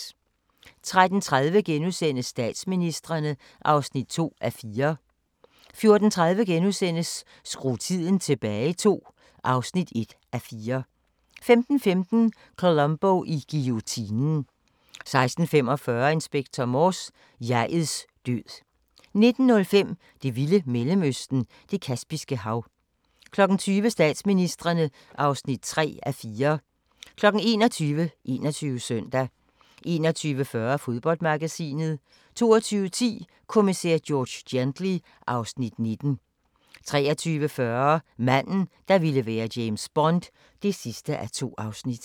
13:30: Statsministrene (2:4)* 14:30: Skru tiden tilbage II (1:4)* 15:15: Columbo i guillotinen 16:45: Inspector Morse: Jeg'ets død 19:05: Det vilde Mellemøsten – Det Kaspiske Hav 20:00: Statsministrene (3:4) 21:00: 21 Søndag 21:40: Fodboldmagasinet 22:10: Kommissær George Gently (Afs. 19) 23:40: Manden, der ville være James Bond (2:2)